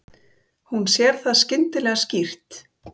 Hún sér það skyndilega skýrt.